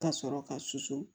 Ka sɔrɔ ka susu